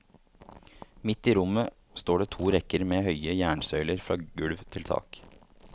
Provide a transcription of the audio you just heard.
Midt i rommet står det to rekker med høye jernsøyler fra gulv til tak.